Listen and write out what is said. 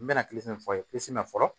N bɛna min fɔ a ye min na fɔlɔ